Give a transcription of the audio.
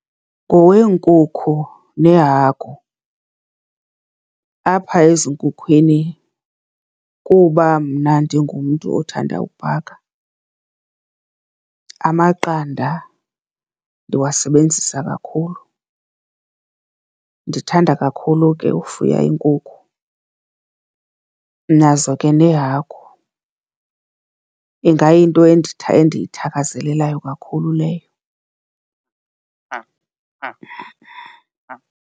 Ngoweenkukhu neehagu. Apha ezinkhukhwini, kuba mna ndingumntu othanda ukubhaka, amaqanda ndiwasebenzisa kakhulu. Ndithanda kakhulu ke ufuya iinkukhu. Nazo ke neehagu ingayinto endiyithakazelelayo kakhulu leyo .